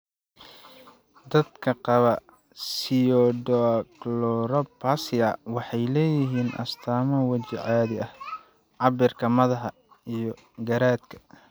Dadka qaba pseudoachondroplasia waxay leeyihiin astaamo waji caadi ah, cabbirka madaxa, iyo garaadka.